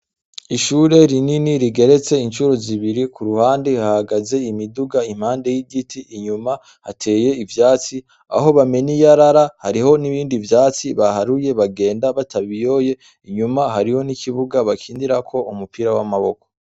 Ishure rinini rigeretse incuro zibiri, ku ruhande hahagaze imiduga impande y'igiti, inyuma hateye ivyatsi, aho bamena iyarara, hariho n'ibindi vyatsi baharuye bagenda batabiyoye, inyuma hariho n'ikibuga bakinirako umupira w'amaboko.